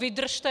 Vydržte!